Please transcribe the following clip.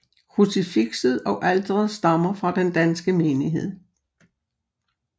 Krucifikset og alteret stammer fra den danske menighed